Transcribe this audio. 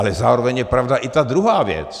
Ale zároveň je pravda i ta druhá věc.